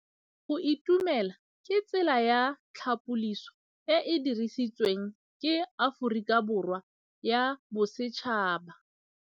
Go itumela ke tsela ya tlhapolisô e e dirisitsweng ke Aforika Borwa ya Bosetšhaba.